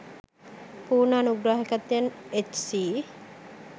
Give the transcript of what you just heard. පුර්ණ අනුග්‍රහාකත්වයෙන් එච්.සී.